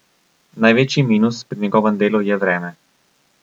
Največji minus pri njegovem delu je vreme.